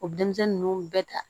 O denmisɛnnin ninnu bɛɛ ta